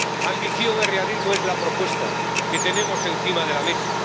Ambición y realismo es la propuesta que tenemos encima de la mesa.